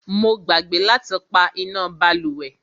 Mo gbàgbé láti pá iná bálùwẹ̀.